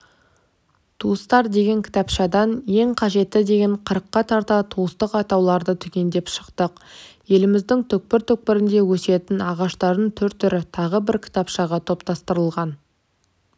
туыстар деген кітапшадан ең қажетті деген қырыққа тарта туыстық атауларды түгендеп шықтық еліміздің түкпір-түкпірінде өсетін ағаштардың түр-түрі тағы бір кітапшаға топтастырылған